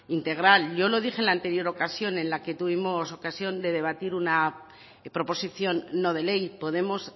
integral yo lo dije en la anterior ocasión en la que tuvimos ocasión de debatir una proposición no de ley podemos